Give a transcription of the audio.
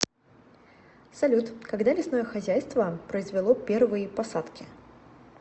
салют когда лесное хозяйство произвело первые посадки